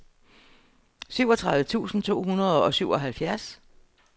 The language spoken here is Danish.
syvogtredive tusind to hundrede og syvoghalvfjerds